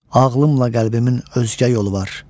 Ağılımla qəlbimin özgə yolu var.